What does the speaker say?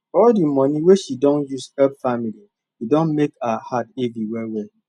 all di money wey she don use help family don mek her heart heavy wellwell